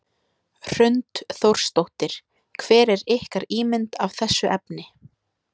Hrund Þórsdóttir: Hver er ykkar ímynd af þessu efni?